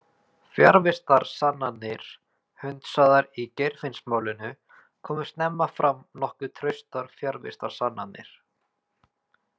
Fjarvistarsannanir hundsaðar Í Geirfinnsmálinu komu snemma fram nokkuð traustar fjarvistarsannanir.